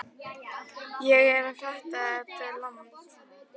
Ég er ekki að fatta þetta land.